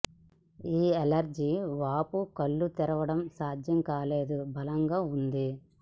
ఈ అలెర్జీ వాపు కళ్ళు తెరవడం సాధ్యం కాలేదు బలంగా ఉంది